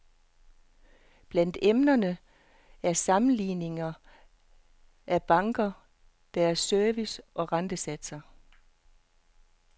Blandt emnerne er sammenligninger af banker, deres service og rentesatser.